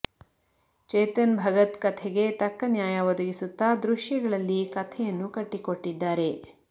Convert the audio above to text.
ಚೇತನ್ ಭಗತ್ ಕಥೆಗೆ ತಕ್ಕ ನ್ಯಾಯ ಒದಗಿಸುತ್ತ ದೃಶ್ಯಗಳಲ್ಲಿ ಕಥೆಯನ್ನು ಕಟ್ಟಿಕೊಟ್ಟಿದ್ದಾರೆ